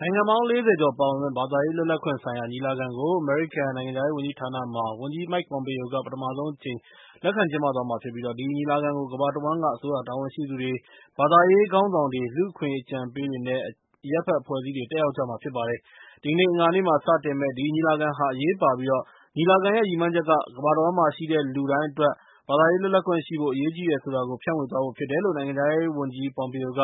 နိုင်ငံပေါင်း ၄၀ ကျော်ပါဝင်မယ့်ဘာသာရေးလွတ်လပ်ခွင့်ဆိုင်ရာညီလာခံကို အမေရိကန်နိုင်ငံခြားရေးဝန်ကြီးဌာနမှာ ဝန်ကြီး Mike Pompeo က ပထမဆုံးအကြိမ်လက်ခံကျင်းပသွားမှာဖြစ်ပြီး၊ ဒီညီလာခံကို ကမ္ဘာတဝှမ်းက အစိုးရတာဝန်ရှိသူတွေ၊ ဘာသာရေးခေါင်းဆောင်တွေ၊ လူ့အခွင့်အရေးအကြံပေးတွေ နဲ့ အရပ်အဖက်အဖွဲ့အစည်းတွေလည်း တက်ရောက်ကြမှာဖြစ်ပါတယ်။ အင်္ဂါနေ့မှာ စတင်မယ့် ဒီညီလာခံက အရေးပါပြီး၊ ညီလာခံရဲ့ ရည်မှန်းချက်က ကမ္ဘာတဝှမ်းမှာရှိတဲ့ လူတိုင်းအတွက် ဘာသာရေးလွတ်လပ်ခွင့်ရှိဖို့ အရေးကြီးတယ်ဆိုတာကို ဖြန့်ဝေသွားဖို့ဖြစ်တယ်လို့ နိုင်ငံခြားရေးဝန်ကြီး Pompeo က